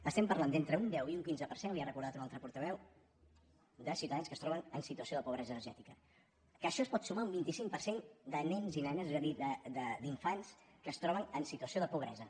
estem parlant d’entre un deu i un quinze per cent li ho ha recordat un altre portaveu de ciutadans que es troben en situació de pobresa energètica que això es pot sumar a un vint cinc per cent de nens i nenes és a dir d’infants que es troben en situació de pobresa